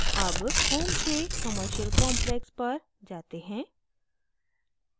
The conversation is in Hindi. अब home से commercial complex पर जाते हैं